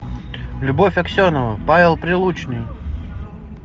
любовь аксенова павел прилучный